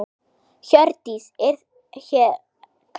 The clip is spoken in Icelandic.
Hjördís: Er þér kalt?